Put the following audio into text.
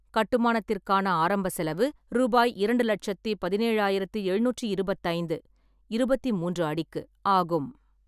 கட்டுமானத்திற்கான ஆரம்ப செலவு ரூபாய் இரண்டு லட்சத்தி பதினேழு ஆயிரத்தி எழுநூற்றி இருபத்தைந்து (இருபத்தி மூன்று அடிக்கு) ஆகும்.